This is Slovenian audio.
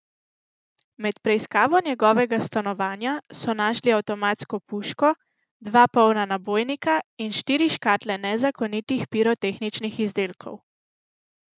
Med preiskavo njegovega stanovanja so našli avtomatsko puško, dva polna nabojnika in štiri škatle nezakonitih pirotehničnih izdelkov.